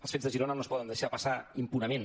els fets de girona no es poden deixar passar impunement